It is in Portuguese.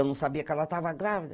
Eu não sabia que ela estava grávida.